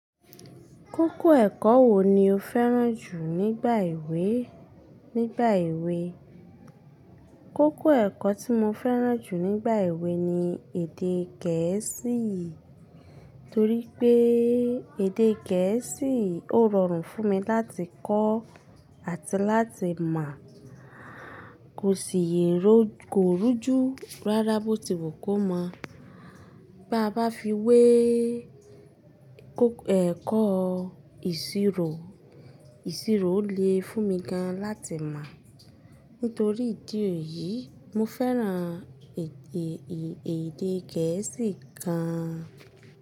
Kókó ẹ̀kọ́ wo ni o fẹ́ràn jù nígbà èwe? Nígbà èwe, kókó ẹ̀kọ́ tí mo fẹ́ràn jù nígbà èwe ni èdè gẹ̀ẹ́sì, torí pé èdè gẹ̀ẹ́sì ó rọrùn fún mi láti kọ́ àti láti mọ̀. Kò sì yẹ̀rọ, kò rújú rárá bó ti wù kó mọ̀. Baá bá fi wé kó ẹ̀kọ́ ìṣirò, ìṣirò le fún mi gan láti mọ̀. Nítorí ìdí èyí, mo fẹ́ràn èdè, èdè gẹ̀ẹ́sì gan.